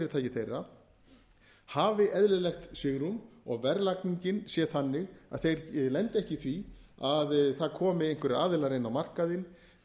afurðafyrirtæki þeirra hafi eðlilegt svigrúm og verðlagningin sé þannig að þeir lendi ekki í því að það komi einhverjir aðilar inn á markaðinn